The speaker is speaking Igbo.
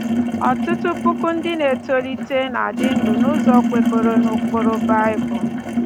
Ọtụtụ puku ndị na-etolite na-adị ndụ n’ụzọ kwekọrọ n’ụkpụrụ Bible